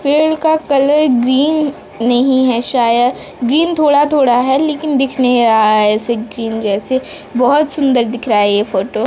पेड़ का colour green नहीं है शायद ग्रीन थोड़ा-थोड़ा है लेकिन दिख नहीं रहा है ऐसे की जैसे बहोत सुंदर दिख रहा है ये फोटो --